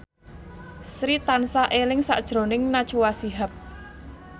Sri tansah eling sakjroning Najwa Shihab